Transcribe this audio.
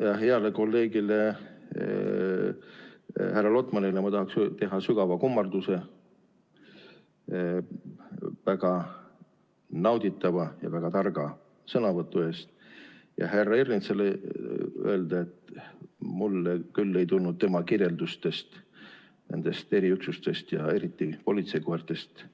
Heale kolleegile härra Lotmanile ma tahaksin teha sügava kummarduse väga nauditava ja väga targa sõnavõtu eest ja härra Ernitsale öelda, et mulle küll ei tulnud tema kirjeldustest nendest eriüksustest ja eriti politseikoertest